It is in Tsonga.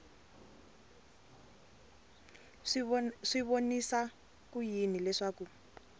swi vonisa ku yini leswaku